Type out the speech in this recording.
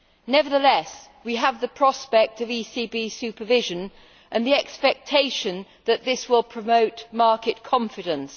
Nevertheless, we have the prospect of ECB supervision and the expectation that this will promote market confidence.